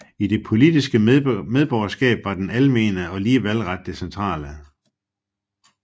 I det politiske medborgerskab var den almene og lige valgret det centrale